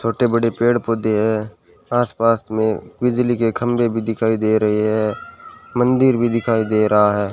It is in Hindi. छोटे बड़े पेड़ पौधे हैं आसपास में बिजली के खंभे भी दिखाई दे रहे है मंदिर भी दिखाई दे रहा है।